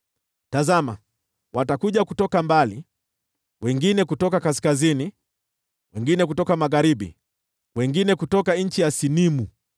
Tazama, watakuja kutoka mbali: wengine kutoka kaskazini, wengine kutoka magharibi, wengine kutoka nchi ya Sinimu.”